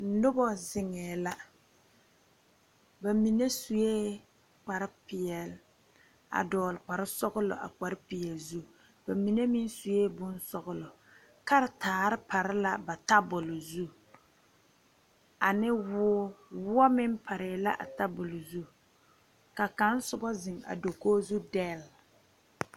Nuba zengɛɛ la ba menne suɛ̃ kpare peɛle a dɔgle kpare sɔglo a kpare peɛle zu ba menne meng suɛ̃ bong sɔglo karitaari pare la ba tabuli zu ani wuuri wuo meng pare a tabulo zu ka kang su ba zeng dakogo zu del.